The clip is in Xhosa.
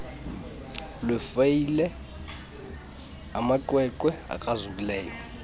lwefayile amaqweqwe akrazukileyo